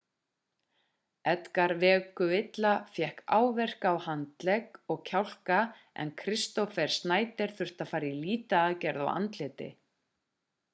edgar veguilla fékk áverka á handlegg og kjálka en kristoffer schneider þurfti að fara í lýtaaðgerð á andliti